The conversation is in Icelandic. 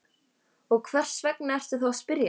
Og hvers vegna ertu þá að spyrja?